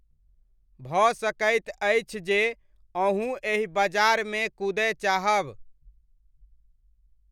भऽ सकैत अछि जे अहूँ एहि बजारमे कूदय चाहब।